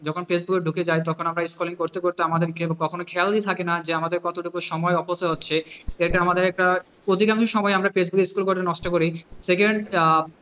যখন ফেসবুকে ঢুকে যায় তখন আমরা scrolling করতে করতে আমাদেরকে কখনো খেয়ালী থাকে না যে আমাদের কত সময় অপচয় হচ্ছে এটা আমাদের একটা অদিগামী সময় ফেসবুকে scroll করে নষ্ট করি secound,